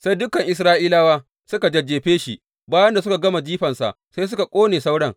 Sai dukan Isra’ilawa suka jajjefe shi, bayan da suka gama jifarsa sai suka ƙone sauran.